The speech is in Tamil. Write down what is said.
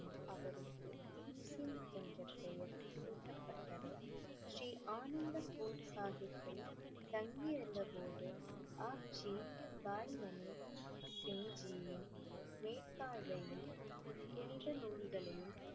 என்ற பெயர் சூட்டப்பட்டது ஸ்ரீ அனந்த்பூர் சாஹிப்பில் தங்கி இருந்த போது புனித நூல்களையும்